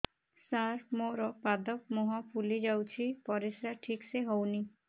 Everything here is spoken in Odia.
ସାର ମୋରୋ ପାଦ ମୁହଁ ଫୁଲିଯାଉଛି ପରିଶ୍ରା ଠିକ ସେ ହଉନି